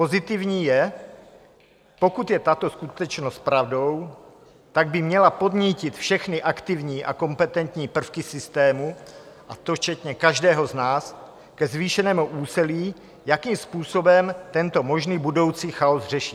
Pozitivní je, pokud je tato skutečnost pravdou, tak by měla podnítit všechny aktivní a kompetentní prvky systému, a to včetně každého z nás, ke zvýšenému úsilí, jakým způsobem tento možný budoucí chaos řešit.